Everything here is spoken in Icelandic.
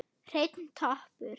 Hreinn toppur.